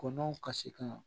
Kɔnɔw ka se ka